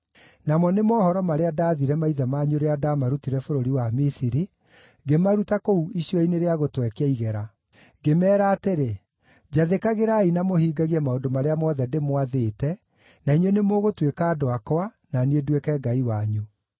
namo nĩ mohoro marĩa ndaathire maithe manyu rĩrĩa ndaamarutire bũrũri wa Misiri, ngĩmaruta kũu icua-inĩ rĩa gũtwekia igera.’ Ngĩmeera atĩrĩ, ‘Njathĩkagĩrai na mũhingagie maũndũ marĩa mothe ndĩmwathĩte, na inyuĩ nĩmũgũtuĩka andũ akwa, na niĩ nduĩke Ngai wanyu.